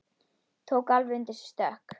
Tók alveg undir sig stökk!